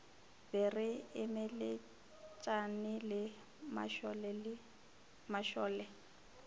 be re emeletšane le mašole